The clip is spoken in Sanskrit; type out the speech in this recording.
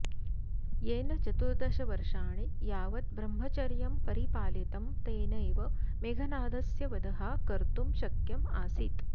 येन चतुर्दशवर्षाणि यावत् ब्रह्मचर्यं परिपालितं तेनैव मेघनादस्य वधः कर्तुं शक्य आसीत्